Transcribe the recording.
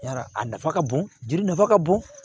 Yarɔ a nafa ka bon jeli nafa ka bon